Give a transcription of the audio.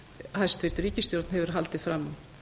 hæstvirt ríkisstjórn hefur haldið fram